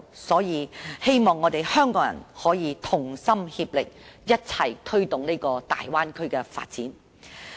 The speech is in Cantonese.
所以，我希望香港人可以同心協力，共同推動大灣區的發展。